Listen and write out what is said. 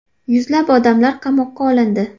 Yuzlab odamlar qamoqqa olindi .